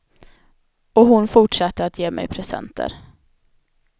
Och hon fortsatte att ge mig presenter.